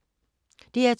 DR2